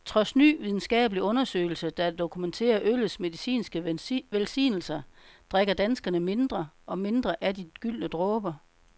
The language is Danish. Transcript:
Trods ny videnskabelig undersøgelse, der dokumenterer øllets medicinske velsignelser, drikker danskerne mindre og mindre af de gyldne dråber.